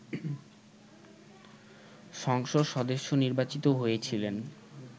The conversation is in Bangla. সংসদ সদস্য নির্বাচিত হয়েছিলেন